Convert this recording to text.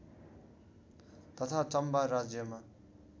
तथा चम्बा राज्यमा